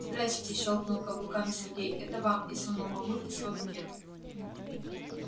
здрассте щёлкнул каблуками сергей это вам и сунул мамульке свой букет